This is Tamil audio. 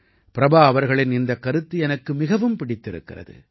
பிரபா அவர்களின் இந்தக் கருத்து எனக்கு மிகவும் பிடித்திருக்கிறது